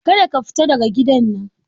Kada ka fita daga gidan nan!